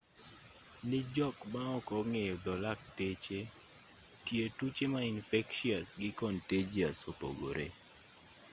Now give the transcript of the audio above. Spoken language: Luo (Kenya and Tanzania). ne jok maok ong'eyo dho lakteche tie tuoche ma infectious gi contagious opogore